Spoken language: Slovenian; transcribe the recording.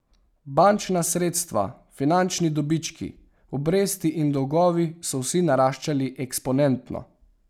Bančna sredstva, finančni dobički, obresti in dolgovi, so vsi naraščali eksponentno.